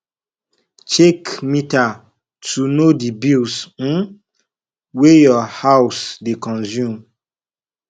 check meter to know di bills um wey your house dey consume